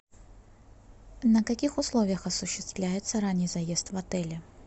на каких условиях осуществляется ранний заезд в отеле